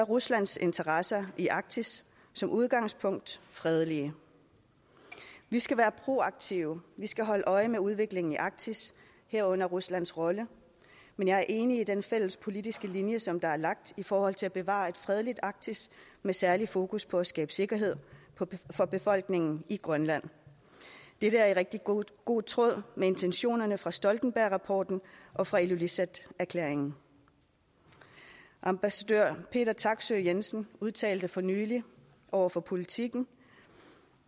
ruslands interesser i arktis som udgangspunkt fredelige vi skal være proaktive vi skal holde øje med udviklingen i arktis herunder ruslands rolle men jeg er enig i den fælles politiske linje som der er lagt i forhold til at bevare et fredeligt arktis med særligt fokus på at skabe sikkerhed for befolkningen i grønland dette er i rigtig god god tråd med intentionerne fra stoltenbergrapporten og fra ilulissat erklæringen ambassadør peter taksøe jensen udtalte for nylig over for politiken